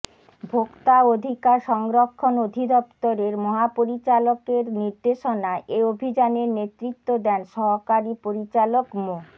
ভোক্তা অধিকার সংরক্ষণ অধিদপ্তরের মহাপরিচালকের নির্দেশনায় এ অভিযানের নেতৃত্ব দেন সহকারী পরিচালক মো